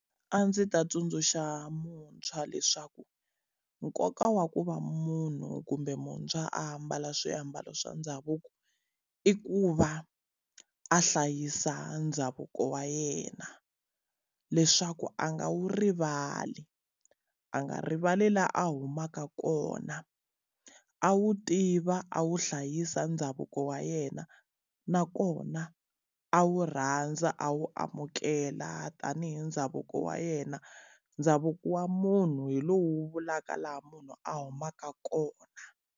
A ndzi ta tsundzuxa muntshwa leswaku nkoka wa ku va munhu kumbe muntshwa ambala swiambalo swa ndhavuko, i ku va a hlayisa ndhavuko wa yena. Leswaku a nga wu rivali, a nga rivali la a humaka kona, a wu tiva a wu hlayisa ndhavuko wa yena. Nakona a wu rhandza, a wu amukela tanihi ndhavuko wa yena. Ndhavuko wa munhu hi lowu wu vulaka laha munhu a humaka kona.